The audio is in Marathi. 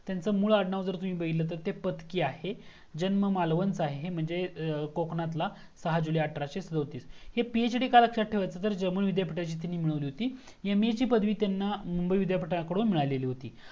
त्यांचा मुळ आडनाव जर बघयला गेला तर पत्की आहे जन्म मालवण च आहे कोकणात ला सहा जुले अठराशे सदोटीस हे पीएचडी का लक्ष्यात ठेवायचा तर जर्मन विद्यापीठाची त्यांनी मिळवलेली होती एमए ची पदवी त्यांना मुंबई विद्यापीठाकधून मिळाली होती